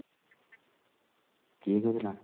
କିଏ କହୁଥିଲା?